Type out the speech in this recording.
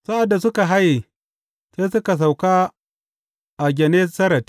Sa’ad da suka haye, sai suka sauka a Gennesaret.